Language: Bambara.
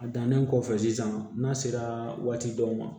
A dannen kɔfɛ sisan n'a sera waati dɔw ma